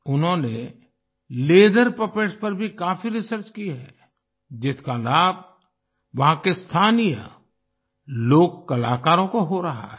उन्होंने leather puppets पर भी काफी रिसर्च की है जिसका लाभ वहाँ के स्थानीय लोक कलाकारों को हो रहा है